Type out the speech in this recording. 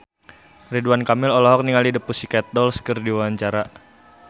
Ridwan Kamil olohok ningali The Pussycat Dolls keur diwawancara